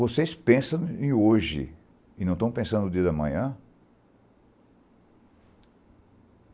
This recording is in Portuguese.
Vocês pensam em hoje e não estão pensando no dia da manhã?